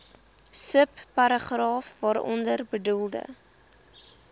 subparagraaf waaronder bedoelde